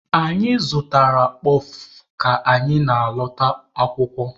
Anyị zụtaara kpọf ka anyị na-alọta akwụkwọ.